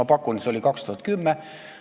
Ma pakun, et see oli aastal 2010.